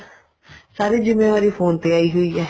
ਸਾਰੀ ਜਿੰਮੇਵਾਰੀ phone ਤੇ ਆਈ ਹੋਈ ਹੈ